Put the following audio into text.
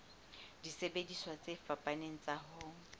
disebediswa tse fapaneng tsa ho